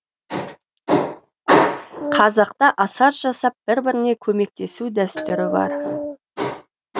қазақта асар жасап бір біріне көмектесу дәстүрі бар